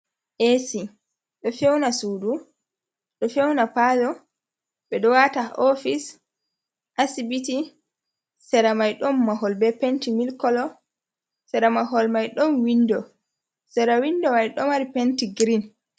`Esi ɗo fewna suudu, ɗo fewna paalo, ɓe ɗo waata haa `ofis, asibiti, sera may ɗon mahol be penti milk kolo, sera mahol may ɗon windo, sera windo may ɗo mari penti girin.